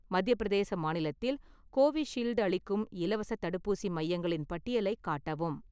மத்திய பிரதேச மாநிலத்தில் கோவிஷீல்டு அளிக்கும் இலவசத் தடுப்பூசி மையங்களின் பட்டியலைக் காட்டவும்.